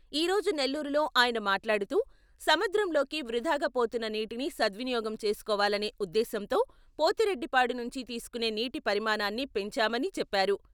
ఈ రోజు నెల్లూరులో ఆయన మాట్లాడుతూ, సముద్రంలోకి వృథాగా పోతున్న నీటిని సద్వినియోగం చేసుకోవాలనే ఉద్దేశంతో పోతిరెడ్డిపాడు నుంచి తీసుకునే నీటి పరిమాణాన్ని పెంచామని చెప్పారు.